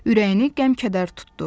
Ürəyini qəm-kədər tutdu.